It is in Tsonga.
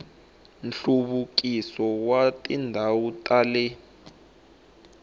nhluvukiso wa tindhawu ta le